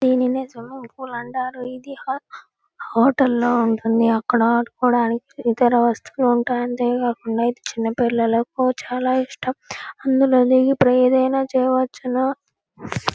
దేనిని swimming pool అంటారు. ఇది హో హోటల్ లో ఉంటుంది. అక్కడ ఆడుకోడానికి ఇతర వస్తువులు ఉంటాయి. అంతేకాకుండా ఇది చిన్న పిల్లలకు చాలా ఇష్టం. అందులో దిగి ఏదైనా చెయ్యవచ్చును.